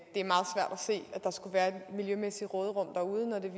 se at der skulle være et miljømæssigt råderum derude når det